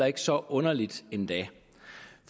ikke så underligt endda